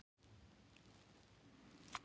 Miljón pund af sykri raffíneruð daglega.